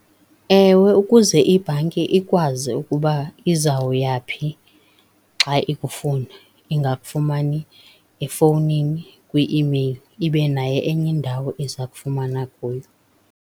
Ewe ukuze ibhanki ikwazi ukuba izawuyaphi xa ikufuna ingakufumani efowunini, kwi-imeyili ibe nayo enye indawo eza kufumana kuyo.